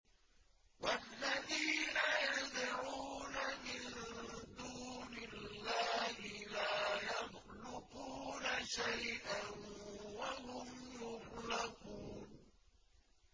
وَالَّذِينَ يَدْعُونَ مِن دُونِ اللَّهِ لَا يَخْلُقُونَ شَيْئًا وَهُمْ يُخْلَقُونَ